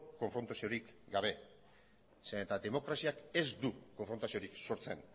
konfrontaziorik gabe zeren eta demokraziak ez du konfrontaziorik sortzen